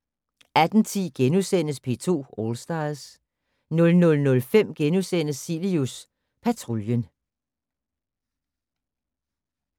18:10: P2 All Stars * 00:05: Cilius Patruljen *